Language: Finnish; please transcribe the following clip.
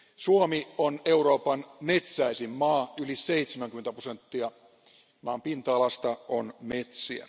Suomi on Euroopan metsäisin maa, yli 70 prosenttia maan pinta alasta on metsiä.